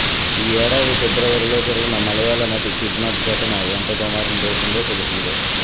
ఈ ఏడాది ఫిబ్రవరిలో జరిగిన మలయాళ నటి కిడ్నాప్ ఘటన ఎంత దుమారం రేపిందో తెలిసిందే